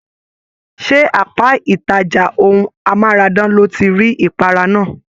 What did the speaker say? Ṣe apá ìtàjà ohùn amárádán lo tí rí ipara náà?